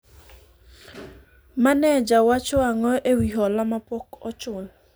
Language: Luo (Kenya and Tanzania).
maneja wacho ang'o ewi hola mapok ochul ?